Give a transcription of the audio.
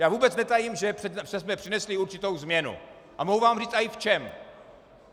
Já vůbec netajím, že jsme přinesli určitou změnu, a mohu vám i říct v čem.